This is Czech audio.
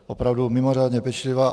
Opravdu mimořádně pečlivá.